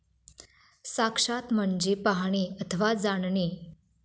साक्षात म्हणजे पाहणे अथवा जाणणे.